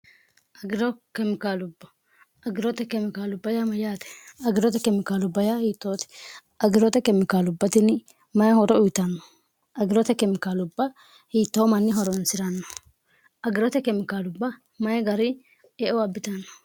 agiro kemikaalubba agirote kemikaalubba yaa mayaate agirote kemikaalubba yaa hiitoote agirote kemikaalubbatini mayi horo uyitanno agirote kemikaalubba hiitoo manni horoonsiranno agirote kemikaalubba mayi gari eo abbitanno